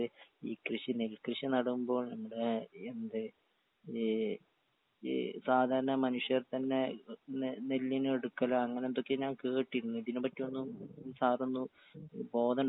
ഈ കൃഷി നെൽ കൃഷി നടുമ്പോൾ നമ്മടേ എന്ത് ഈ ഈ സാധാരണ മനുഷ്യർ തന്നെ ഇത് നെൽ നെല്ലിനെടുക്കലാ അങ്ങനെ എന്തൊക്കെ ഞാൻ കേട്ടിരുന്നു ഇതിനെ പറ്റിയൊന്നും സാറൊന്ന് ബോധണ്ടാക്കി തരോ.